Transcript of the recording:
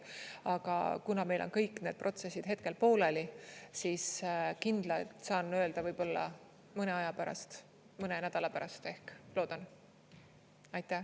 Aga kuna meil on kõik need protsessid hetkel pooleli, siis kindlalt saan öelda võib-olla mõne aja pärast, mõne nädala pärast ehk, loodan.